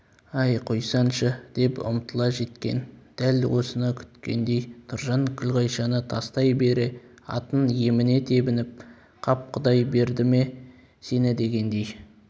әй қойсаңшы деп ұмтыла жеткен дәл осыны күткендей тұржан күлғайшаны тастай бере атын еміне тебініп қап құдай берді ме сені дегендей